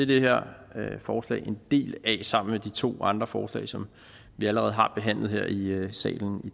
det her forslag en del af sammen med de to andre forslag som vi allerede har behandlet her i salen i